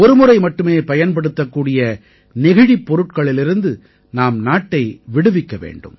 ஒருமுறை மட்டுமே பயன்படுத்தக்கூடிய நெகிழிப் பொருட்களிலிருந்து நாம் நாட்டை விடுவிக்க வேண்டும்